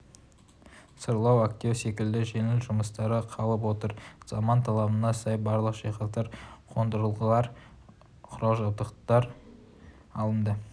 сырлау әктеу секілді жеңіл жұмыстары қалып отыр заман талабына сай барлық жиһаздар қондырғылар құрал-жабдықтар алынды